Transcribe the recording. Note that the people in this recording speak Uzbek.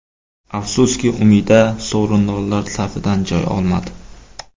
Afsuski, Umida sovrindorlar safidan joy olmadi.